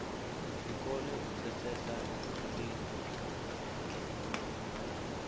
ri kone u pfesesa ndi